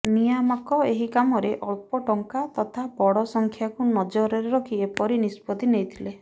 ନିୟାମକ ଏହି କାମର ଅଳ୍ପ ଟଙ୍କା ତଥା ବଡ ସଂଖ୍ୟାକୁ ନଜରରେ ରଖି ଏପରି ନିଷ୍ପତ୍ତି ନେଇଥିଲେ